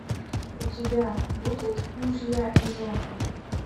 у тебя будет мужья и жены